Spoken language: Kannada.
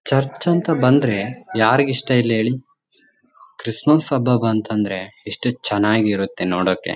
ಚರ್ಚ್ ಅಂತ ಬಂದ್ರೆ ಯಾರಿಗ್ ಇಷ್ಟ ಇಲ್ಲ ಹೇಳಿ ಕ್ರಿಸ್ಮಸ್ ಹಬ್ಬ ಬಂತಂದ್ರೆ ಎಸ್ಟ್ ಚೆನ್ನಾಗ್ ಇರುತ್ತೆ ನೋಡೋಕೆ.